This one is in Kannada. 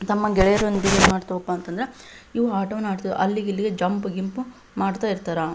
ತಮ್ಮ ಗೆಳೆಯರೊಂದಿಗೆ ಏನ್ ಮಾಡ್ತವಪ್ಪ ಅಂತಾದ್ರ ಇವು ಆಟವನ್ನ ಅಡ್ತ ಅಲ್ಲಿಗೆ ಇಲ್ಲಿಗೆ ಜಂಪ್ ಗಿಂಪ್ ಮಾಡ್ತಾ ಇರ್ತಾರ.